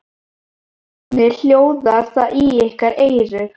Hvernig hljóðar það í ykkar eyru?